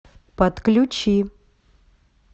подключи